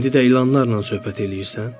İndi də ilanlarla söhbət eləyirsən?